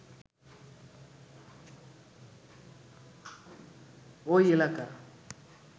ঐ এলাকার